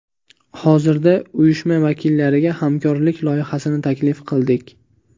Hozirda uyushma vakillariga hamkorlik loyihasini taklif qildik.